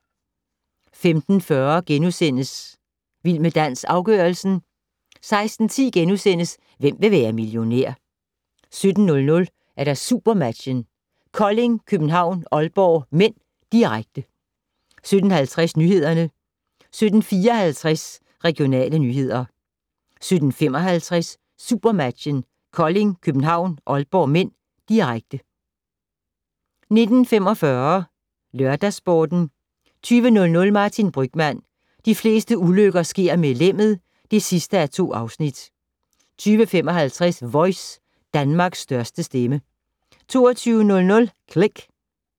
15:40: Vild med dans - afgørelsen * 16:10: Hvem vil være millionær? * 17:00: SuperMatchen: Kolding København-Aalborg (m), direkte 17:50: Nyhederne 17:54: Regionale nyheder 17:55: SuperMatchen: Kolding København-Aalborg (m), direkte 19:45: LørdagsSporten 20:00: Martin Brygmann: De fleste ulykker sker med lemmet (2:2) 20:55: Voice - Danmarks største stemme 22:00: Click